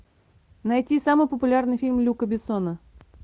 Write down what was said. найти самый популярный фильм люка бессона